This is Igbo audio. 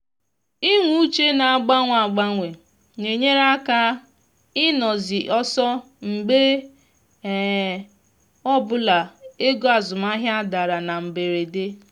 inwe uche na-agbanwe agbanwe na-enyere aka ịnọ zi ọsọ mgbe um ọbụla ego azụmahịa dara na mberede